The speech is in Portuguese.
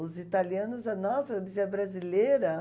Os italianos, nossa, eu dizia brasileira.